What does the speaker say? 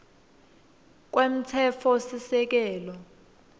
kwemtsetfosisekelo